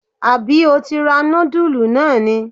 Àbí o ti ra nudulú náà ni??